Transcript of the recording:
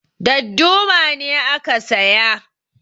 Darduma ne aka saya